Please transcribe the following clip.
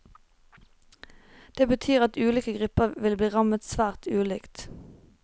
Det betyr at ulike grupper vil bli rammet svært ulikt.